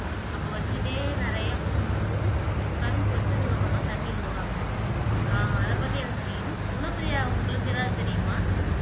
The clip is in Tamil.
அப்படி வெச்சிகிட்டே நெறைய போகும்போது கரும்ப வெச்சதுக்கு அப்புறம் தான் தண்ணியே விடுவாங்க ஆஹ் அத பத்தி எனக்கு தெரியும் குணப்ரியா உங்களுக்கு எதாவது தெரியுமா?